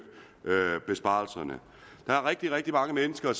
besparelserne der er rigtig rigtig mange mennesker